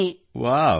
wow ವ್ಹಾ